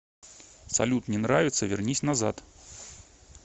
салют не нравится вернись назад